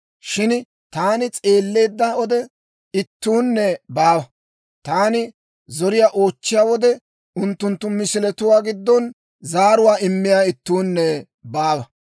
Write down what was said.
Shin taani s'eelleedda wode ittuunne baawa; taani zoriyaa oochchiyaa wode, unttunttu misiletuwaa giddon zaaruwaa immiyaa ittuunne baawa.